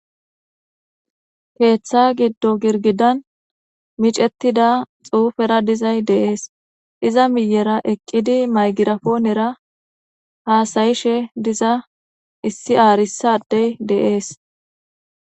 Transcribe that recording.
Keeththa giddo girgidan miicettida xuufera dizay de'ees iza miiyera eqqidi maygirapoonera haasayishshe diza issi aarissa adey de'ees